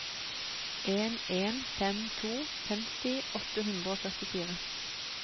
en en fem to femti åtte hundre og førtifire